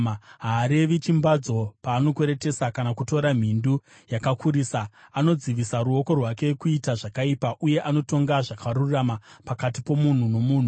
Haarevi chimbadzo paanokweretesa kana kutora mhindu yakakurisa. Anodzivisa ruoko rwake kuita zvakaipa, uye anotonga zvakarurama pakati pomunhu nomunhu.